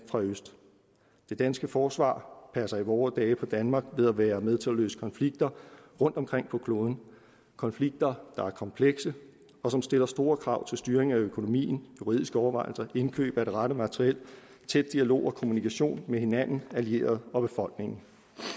fra øst det danske forsvar passer i vore dage på danmark ved at være med til at løse konflikter rundtomkring på kloden konflikter der er komplekse og som stiller store krav til styringen af økonomien juridiske overvejelser indkøb af det rette materiel tæt dialog og kommunikation med hinanden allierede og befolkningen